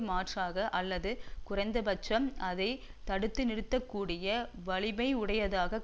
மாற்றாக அல்லது குறைந்தபட்சம் அதை தடுத்துநிறுத்தக்கூடிய வலிமையுடையதாகக்